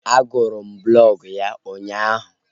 A gụrụ m blọg ya ụnyaahụ